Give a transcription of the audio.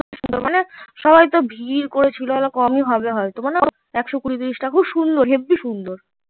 মানে সবাই এত ভিড় করেছিল কমে হবে হয় তো মানে খুব সুন্দর হেব্বি সুন্দর